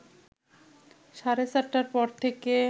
সাড়ে চারটার পর থেকে